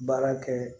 Baara kɛ